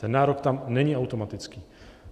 Ten nárok tam není automatický.